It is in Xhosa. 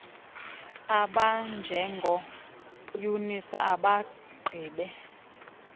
abanjengo eunice abagqibe